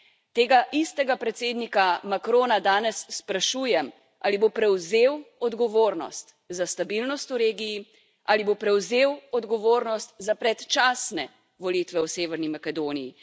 Tega istega predsednika Macrona danes sprašujem, ali bo prevzel odgovornost za stabilnost v regiji, ali bo prevzel odgovornost za predčasne volitve v Severni Makedoniji.